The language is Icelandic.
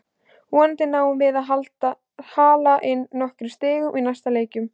Vonandi náum við að hala inn nokkrum stigum í næstu leikjum.